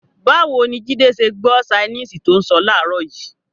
Báwo ni Jídé ṣe gbọ́ ṣainíìsì tó ń sọ láàárọ̀ yìí?